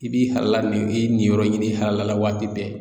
I b'i halala nin i ye nin yɔrɔ ɲini i halala waati bɛɛ